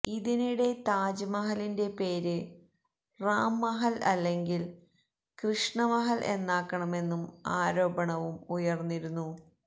ഇതിനിടെ താജ് മഹലിന്റെ പേര് റാം മഹല് അല്ലെങ്കില് കൃഷ്ണ മഹല് എന്നാക്കണമെന്നും ആരോപണവും ഉയര്ന്നിരുന്നു